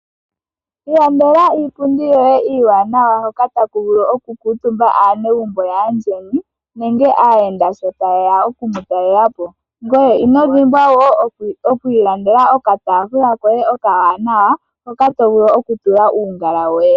Ilandela iipundi yoye iiwanawa hoka taku vulu okukuutumba aanegumbo yaandjeni nenge aayenda sho taye ya oku mu talela po. Ngweye ino dhimwa wo okwiilandela okataafula koye oka wanawa hoka to vulu okutula uungala woye